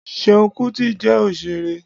Seun kuti jẹ́ òṣèré.